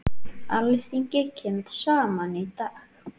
Alþingi kemur saman í dag.